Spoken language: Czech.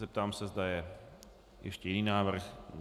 Zeptám se, zda je ještě jiný návrh.